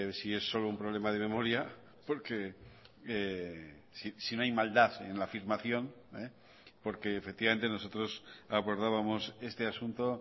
si es solo un problema de memoria porque si no hay maldad en la afirmación porque efectivamente nosotros abordábamos este asunto